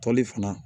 Toli fana